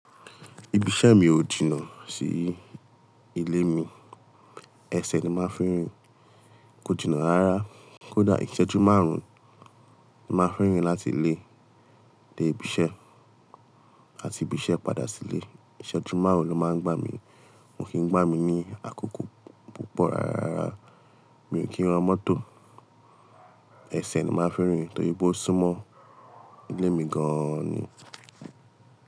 Ibi iṣẹ́ mi ò jìnà sí ilé mi. Ẹsẹ̀ ni máa fi n rìn. Kó jìnà rárá, kó dà ìṣẹ́jú márùn-ún ni máa fi n rìn láti ilé dé ibi iṣẹ́ àti ibi iṣẹ́ padà sí ilé. Ìṣẹ́jú márùn-ún ló máa ń gbà mí. Ko kì n gbà mí ní àkókò púpọ̀ rárá. Mi ò kí ń rán mọ́tò. Ẹsẹ̀ ni máa fi n rìn torí pé ó súnmọ́ ilé mi gan ni.